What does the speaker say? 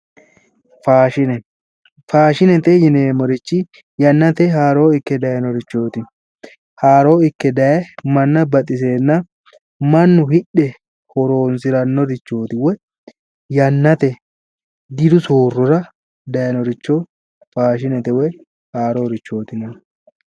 Faashine, faashinete yinneemmori yannate haaro ikke daayinorichoti, haaro ikke daaye manna baxisenna mannu hidhe horonsirannorichoti woyi yannate diru soorrora daayinoricho faashinete woyi haarorichoti yinnanni